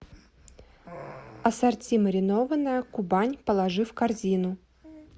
ассорти маринованное кубань положи в корзину